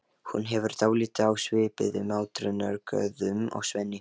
Hún hefur dálæti á svipuðum átrúnaðargoðum og Svenni.